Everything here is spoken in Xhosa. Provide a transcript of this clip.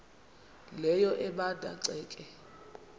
leyo ebanda ceke